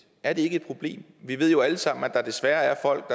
er det ikke et problem vi ved jo alle sammen at der desværre er folk